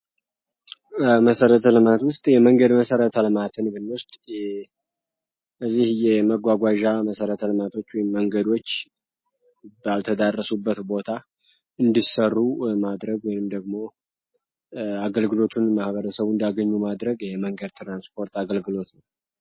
መሰረተ ልማት ውስጥ የመንገድ መሰረተ ልማት ውስጥ የመጓጓዣ መሰረተ ልማት ወይም መንገዶች ባልደረሱበት ቦታ እንዲሰሩ ማድረግ ወይም አገልግሎቱን እንዲያገኙ ማድረግ ይህ የመንግት ትራንስፖርት አገልግሎት ነው።